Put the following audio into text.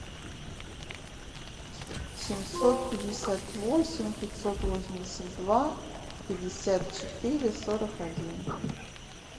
семьсот пятьдесят восемь пятьсот восемьдесят два пятьдесят четыре сорок один